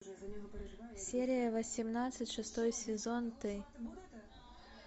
серия восемнадцать шестой сезон ты